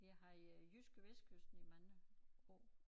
Vi har haft øh JydskeVestkysten i mange år